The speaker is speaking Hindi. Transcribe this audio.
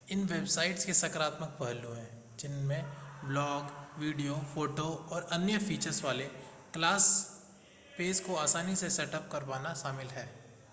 इन वेबसाइट्स के सकारात्मक पहलू हैं जिनमें ब्लॉग वीडियो फ़ोटो और अन्य फ़ीचर्स वाले क्लास पेज को आसानी से सेटअप कर पाना शामिल है